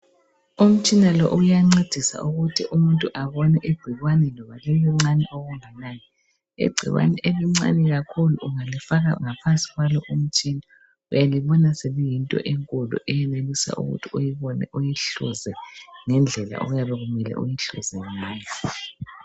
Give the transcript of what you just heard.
Umtshina lo uyancedisa ukuthi umuntu abone igcikwane loba silicone okunganani. Igcikwane elincane kakhulu ungakifaka ngaphansi kwalo umtshina uyalibona seliyinto enkulu eyenelisa ukuthi uyibone uyihluze ngendlela okuyabe kumele uyihluze ngayo.